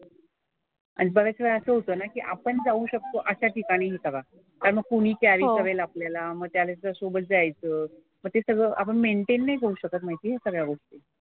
आणि बऱ्याच वेळा असं होतं नाही की आपण जाऊ शकतो अशा ठिकाणी हि करा. कारण मग कुणी कॅरी करेल आपल्याला मग त्यानंतर सोबत जायचं. मग ते सगळं आपण मेन्टेन नाही करू शकत माहिती आहे सगळ्या गोष्टी.